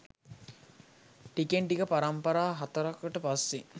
ටිකෙන් ටික පරම්පරා හතරකට පස්සේ